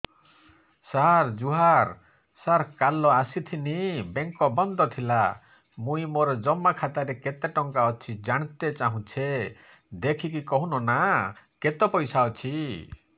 ସାର ଜୁହାର ସାର କାଲ ଆସିଥିନି ବେଙ୍କ ବନ୍ଦ ଥିଲା ମୁଇଁ ମୋର ଜମା ଖାତାରେ କେତେ ଟଙ୍କା ଅଛି ଜାଣତେ ଚାହୁଁଛେ ଦେଖିକି କହୁନ ନା କେତ ପଇସା ଅଛି